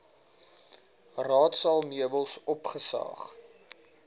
raadsaal meubels opgesaag